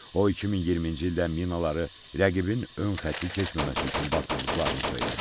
O 2020-ci ildə minaları rəqibin ön xətti keçməməsi üçün basdırdıqlarını söylədi.